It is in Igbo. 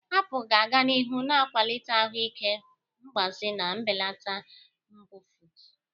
Apụl ga-aga n'ihu na-akwalite ahụ ike mgbaze ma belata mbufụt.